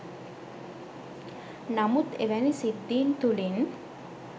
නමුත් එවැනි සිද්ධීන් තුළින්